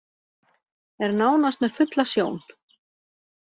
Er nánast með fulla sjón